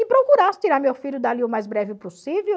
E procurasse tirar meu filho dali o mais breve possível.